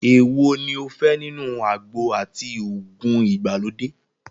Èwo ní o fẹ́ nínú àgbo àti òògùn ìgbàlódé?